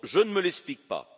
Je ne me l'explique pas.